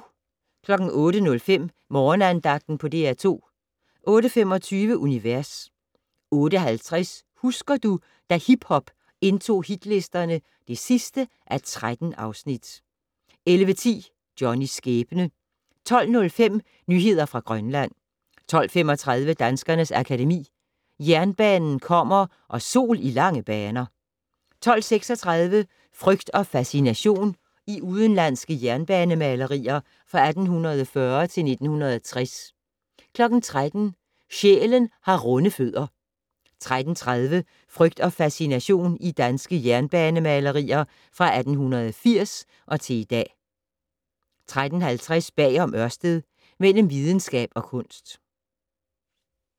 08:05: Morgenandagten på DR2 08:25: Univers 08:50: Husker du - da hiphop indtog hitlisterne (13:13) 11:10: Johnnys skæbne 12:05: Nyheder fra Grønland 12:35: Danskernes Akademi: Jernbanen kommer & Sol i lange baner 12:36: Frygt og fascination - i udenlandske jernbanemalerier fra 1840 til 1960 13:00: Sjælen har runde fødder 13:30: Frygt og fascination - i danske jernbanemalerier fra 1880 til i dag 13:50: Bag om Ørsted - Mellem videnskab og kunst